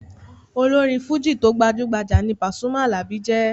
Olórin fújì tó gbajú-gbajà ní Pasuma Alabi jẹ́.